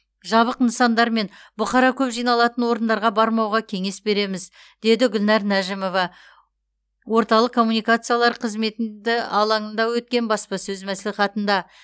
жабық нысандар мен бұқара көп жиналатын орындарға бармауға кеңес береміз деді гүлнәр нәжімова орталық коммуникациялар қызметі алаңында өткен баспасөз мәслихатында